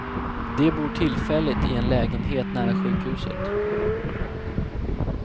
De bor tillfälligt i en lägenhet nära sjukhuset.